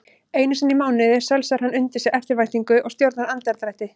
Einusinni í mánuði sölsar hann undir sig eftirvæntingu og stjórnar andardrætti.